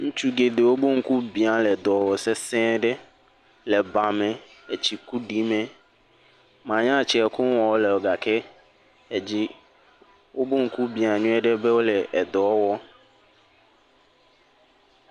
Ŋutsu geɖewo ƒe ŋku bia wole dɔ wɔm sese ɖe le ba me. Etsi kuɖi me. Manya tse koŋu wɔm wole gake edzi wobe ŋku bia nyuie ɖe be wole edɔ wɔm.